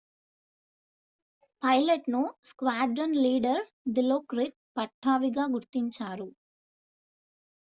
పైలట్ను squadron leader Dilokrit పట్టావీగా గుర్తించారు